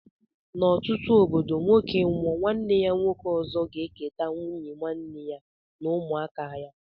N' ọtụtụ obodo nwoke nwụọ nwanne ya nwoke ọzọ ga eketa nwụnye nwanne ya na ụmụaka ya.